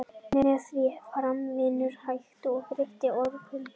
með því að framkvæma vinnu er hægt að breyta orkuinnihaldi hluta